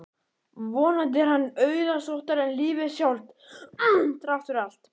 Vonandi er hann auðsóttari en lífið sjálft, þrátt fyrir allt.